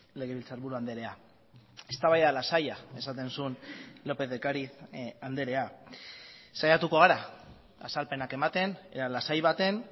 legebiltzarburu andrea eztabaida lasaia esaten zuen lópez de ocáriz andrea saiatuko gara azalpenak ematen ea lasai baten